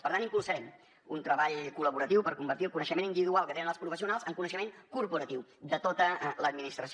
per tant impulsarem un treball col·laboratiu per convertir el coneixement individual que tenen els professionals en coneixement corporatiu de tota l’administració